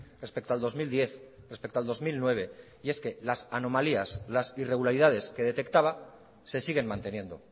respecto al dos mil diez respecto al dos mil nueve y es que las anomalías las irregularidades que detectaba se siguen manteniendo